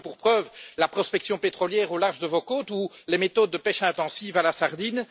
J'en veux pour preuve la prospection pétrolière au large de vos côtes ou les méthodes de pêche intensive à la sardine.